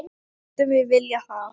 Myndum við vilja það?